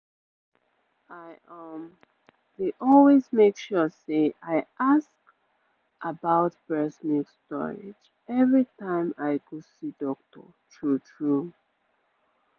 i um dey always make sure say i ask about breast milk storage every time i go see doctor true-true